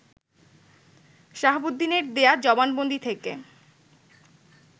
শাহাবুদ্দিনের দেয়া জবানবন্দি থেকে